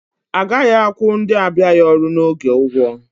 Agaghị akwụ ndị abịaghị ọrụ n'oge ụgwọ